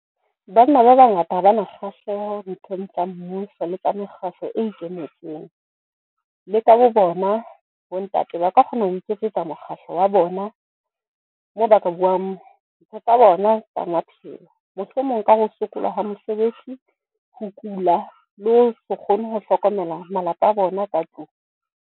Banna ba bangata ha bana kgahleho nthong tsa mmuso le ka mekgahlo e ikemetseng. Le ka bo bona bo ntate ba ka kgona ho iketsetsa mokgahlo wa bona, moo ba ka buang ntho tsa bona tsa maphelo. Mohlomong ka ho sokola ha mosebetsi, ho kula le ho se kgone ho hlokomela malapa a bona ka tlung.